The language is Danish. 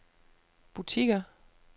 butikker